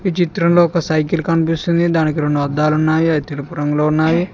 ఈ చిత్రంలో ఒక సైకిల్ కనిపిస్తుంది దానికి రొండు అద్దాలున్నాయి అవి తెలుపు రంగులో ఉన్నావి.